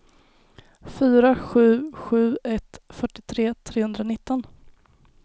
fyra sju sju ett fyrtiotre trehundranitton